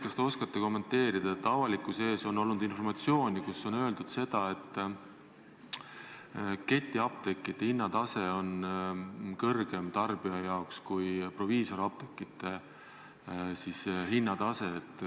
Kas te oskate kommenteerida avalikkuseni jõudnud informatsiooni, et ketiapteekide hinnatase on tarbija jaoks kõrgem kui proviisoriapteekide hinnatase?